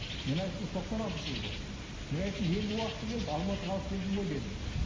мен айттым тоқсан алтыншы жылы бұл мен айттым енді уақыты келді алматыға алып келдім ғой дедім